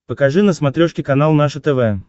покажи на смотрешке канал наше тв